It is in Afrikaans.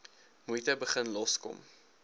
moeite begin loskom